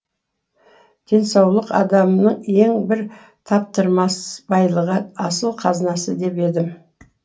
денсаулық адамның ең бір таптырмас байлығы асыл қазынасы дер едім